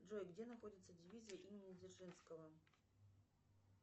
джой где находится дивизия имени дзержинского